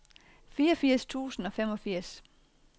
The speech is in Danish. fireogfirs tusind og femogfirs